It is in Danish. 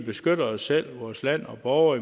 beskytte os selv vores land og borgere